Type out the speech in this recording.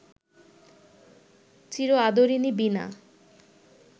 চির আদরিণী বীণা